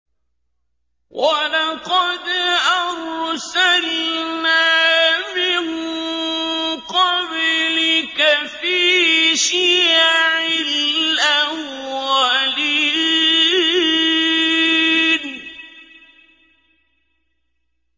وَلَقَدْ أَرْسَلْنَا مِن قَبْلِكَ فِي شِيَعِ الْأَوَّلِينَ